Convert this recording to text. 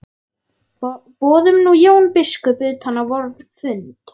Boðum nú Jón biskup utan á vorn fund.